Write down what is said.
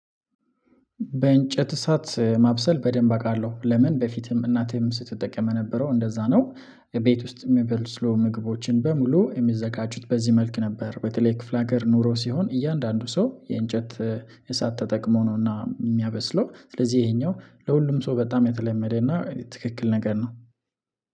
በእንጨት እሳት ማብሰል በደንብ አውቃለሁ ለምን በፊትም እናቴም ስትጠቀም የነበረው እንደዛ ነው ቤት ውስጥ የሚበስሉ ምግቦችን በሙሉ የሚዘጋጁት በዚህ መልክ ነበር በተለይ ክፍለ ሀገር ኑሮ ሲሆን እያንዳንዱ ሰው የእንጨት እሳት ተጠቅሞ ነውና የሚያበስለው ስለዚህ ይሄኛው ለሁሉም ሰው በጣም የተለመደና ትክክል ነገር ነው።